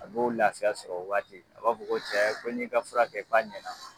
A b'o lafiya sɔr'o waati, a b'a ko cɛ ko n y'i ka fura kɛ, k'a ɲɛna.